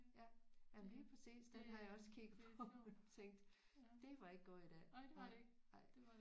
Ja ja lige præcis den har jeg også kigget på og tænkt det var ikke gået i dag nej nej